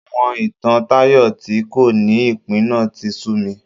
Àwọn ìtàn Tayo tí kò ní ìpín náà tí sú mi